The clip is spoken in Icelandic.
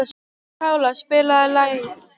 Pála, spilaðu lag.